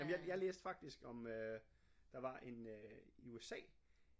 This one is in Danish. Jamen jeg jeg læste faktisk om øh der var en øh i USA